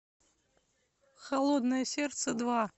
холодное сердце два